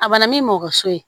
A bana min mɔso ye